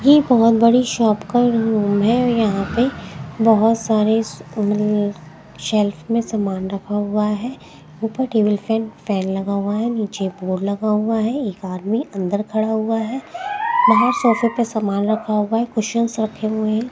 ये बहुत बड़ी शॉप का रूम है यहां पे बहुत सारे -- शेल्फ में सामान रखा हुआ है ऊपर टेबल फैन फैन लगा हुआ है नीचे बोर्ड लगा हुआ है एक बार में अंदर खड़ा हुआ है बाहर सोफे पे सामान रखा हुआ है कुशन रखे हुए है।